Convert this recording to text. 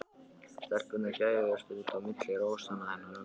Stelpurnar gægðust út á milli rósanna hennar ömmu.